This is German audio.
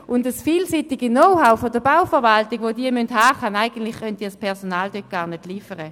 Das vielseitige Know-how der Bauverwaltung, das sie haben muss, kann das Personal dort eigentlich gar nicht liefern.